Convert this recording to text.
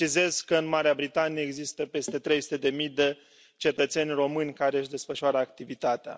Precizez că în Marea Britanie există peste trei sute de mii de cetățeni români care își desfășoară activitatea.